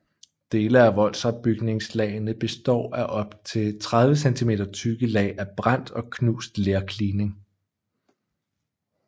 Dele af voldopbygningslagene består af op til 30 centimeter tykke lag af brændt og knust lerklining